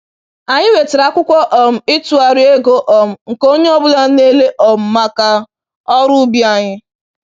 Anyị wetara akwụkwọ um ịtụgharị ego um nke onye ọ bụla na-ele um maka ọrụ ubi anyị.